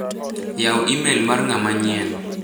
Yaw imel mar ng'ama nyien .